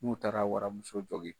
N'u taara waramuso jɔgin